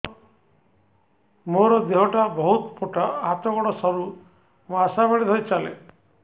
ମୋର ଦେହ ଟା ବହୁତ ମୋଟା ହାତ ଗୋଡ଼ ସରୁ ମୁ ଆଶା ବାଡ଼ି ଧରି ଚାଲେ